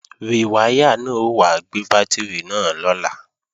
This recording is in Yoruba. Rìwáyà náà ó wá gbé bátìrì náà lọ́la